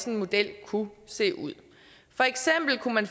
en model kunne se ud for eksempel kunne man